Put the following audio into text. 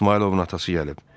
İsmayılovun atası gəlib.